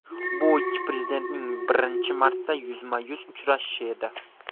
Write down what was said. Bu ikki prezidentning birinchi marta yuzma-yuz uchrashishi edi.